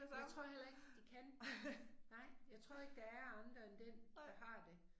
Det tror jeg heller ikke de kan. Nej jeg tror ikke der er andre end den der har det